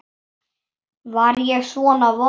Var ég svona vondur?